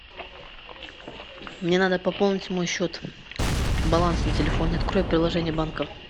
мне надо пополнить мой счет баланс на телефоне открой приложение банка